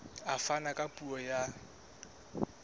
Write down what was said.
a fana ka puo ya